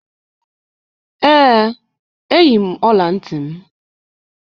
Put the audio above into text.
Ee, eyi m ọla ntị m.